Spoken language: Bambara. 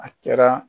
A kɛra